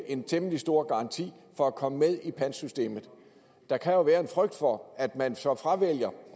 en temmelig stor garanti for at komme med i pantsystemet der kan jo være en frygt for at man så fravælger